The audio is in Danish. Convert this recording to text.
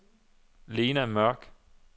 Lena Mørch